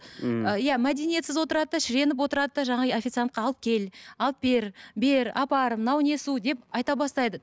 иә мәдениетсіз отырады да шіреніп отырады да жаңағы официантқа алып кел алып бер бер апар мынау не су деп айта бастайды